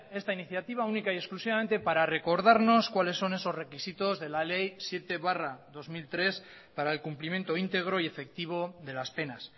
esta iniciativa única y exclusivamente para recordarnos cuáles son esos requisitos de la ley siete barra dos mil tres para el cumplimiento íntegro y efectivo de las penas